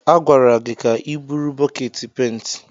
A gwara gị ka i buru bọket penti!